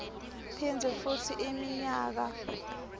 phindze futsi iminyaka